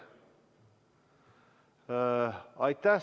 Aitäh!